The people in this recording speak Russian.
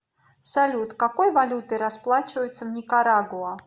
салют какой валютой расплачиваются в никарагуа